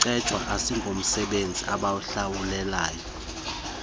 kucetywayo asingomsebenzi abawuhlawulelwayo